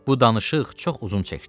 Bu danışıq çox uzun çəkdi.